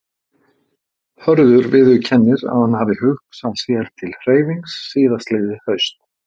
Hörður viðurkennir að hann hafi hugsað sér til hreyfings síðastliðið haust.